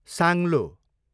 साङ्लो